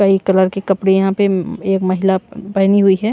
कई कलर के कपड़े यहां पे एक महिला पहनी हुई है ।